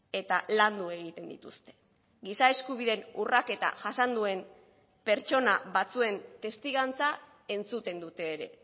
eta landu egiten dituzte giza eskubideen urraketa jasan duen pertsona batzuen testigantza entzuten dute ere